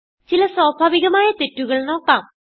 ചില സ്വാഭാവികമായ തെറ്റുകൾ നോക്കാം